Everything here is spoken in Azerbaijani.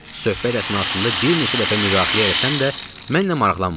Söhbət əsnasında bir neçə dəfə müdaxilə eləsəm də, mənlə maraqlanmadı.